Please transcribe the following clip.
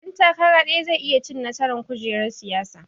Ɗan takara ɗaya zai iya cin nasaran kujerar siyasa